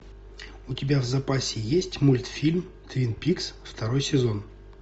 у тебя в запасе есть мультфильм твин пикс второй сезон